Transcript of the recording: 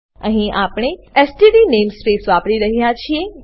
અહીં આપણે STD namespace વાપરી રહ્યા છીએ